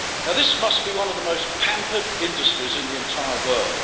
This must be one of the most pampered industries in the entire world.